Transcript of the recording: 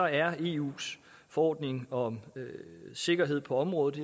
er eus forordning om sikkerhed på området